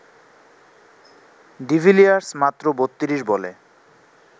de Villiers মাত্র ৩২ বলে